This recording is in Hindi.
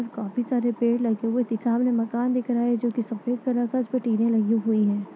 काफी सारे पेड़ लगे हुए दिखाई दे रहे हैं मकान दिख रहा है जो की सफेद कलर का है उसमे टी वी लगी हुई है।